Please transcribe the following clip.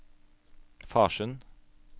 Farsund